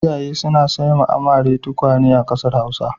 Iyaye suna saiwa amare tukwane a ƙasar Hausa.